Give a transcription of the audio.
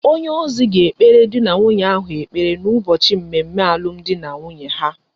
Onye ozi ga ekpere di na nwunye ahu ekpere na ubochi mmemme alum di na nwunye ha